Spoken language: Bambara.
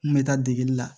N kun bɛ taa degeli la